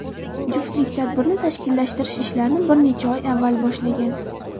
Juftlik tadbirni tashkillashtirish ishlarini bir necha oy avval boshlagan.